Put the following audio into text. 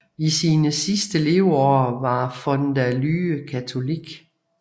I sine sidste leveår var von der Lühe katolik